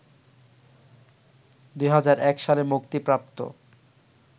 ২০০১ সালে মুক্তিপ্রাপ্ত